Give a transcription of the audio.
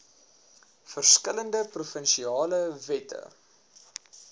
verskillende provinsiale wette